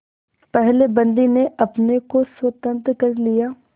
पहले बंदी ने अपने को स्वतंत्र कर लिया